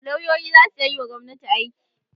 Lauyoyi za su iya yiwa gobnati aiki.